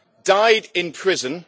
died in prison.